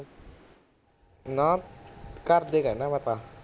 ਨਾ, ਘਰਦੇ ਕਹਿਣਾ ਮੈਂ ਤਾਂ